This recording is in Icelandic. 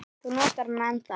Þú notar hana ennþá.